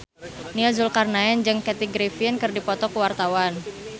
Nia Zulkarnaen jeung Kathy Griffin keur dipoto ku wartawan